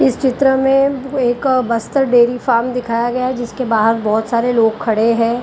इस चित्र में एक बस्त्र डेरी फार्म दिखाया गया है जिसके बाहर बहुत सारे लोग खड़े हैं।